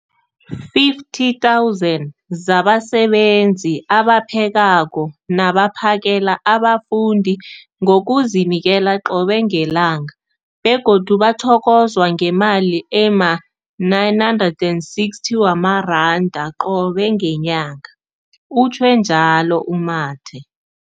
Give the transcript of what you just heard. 50 000 zabasebenzi abaphekako nabaphakela abafundi ngokuzinikela qobe ngelanga, begodu bathokozwa ngemali ema-960 wamaranda qobe ngenyanga, utjhwe njalo u-Mathe.